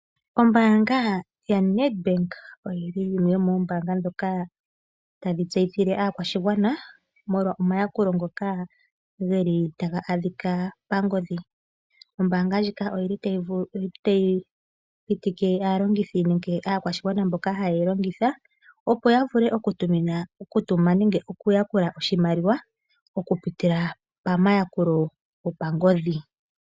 Ombaanga yaNedbank oyili yimwe yomoombaanga dhoka tadhi tseyithile aakwashigwana molwa omayakulo ngoka geli taga adhika pangodhi. Ombaanga ndjika oyili tayi vulu yi pitike aalongithi nenge aakwashigwana mboka ha yeyi longitha opo ya vule oku tumina, okutuma nenge oku yakula oshimaliwa oku pitila pangodhi.